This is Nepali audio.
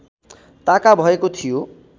ताका भएको थियो